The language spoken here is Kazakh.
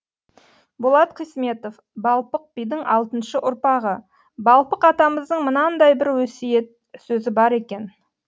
болат қисметов балпық бидің алтыншы ұрпағы балпық атамыздың мынандай бір өсиет сөзі бар екен